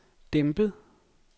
dæmpet